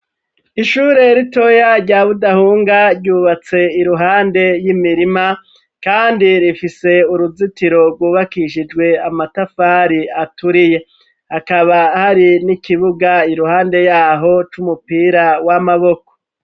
Ishure ritoya rya budahunga ryubatse iruhande y'imirima. Kandi rifise uruzitiro rwubakishijwe amatafari aturiye akaba hari n'ikibuga iruhande yaho c'umupira w'amaboko.